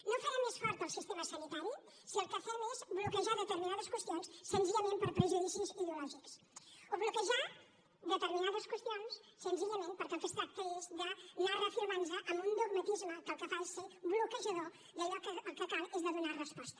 no farem més fort el sistema sanitari si el que fem és bloquejar determinades qüestions senzillament per prejudicis ideològics o bloquejar determinades qüestions senzillament perquè el que es tracta és d’anar reafirmant nos en un dogmatisme que el que fa és ser bloquejador d’allò que el que cal és donar resposta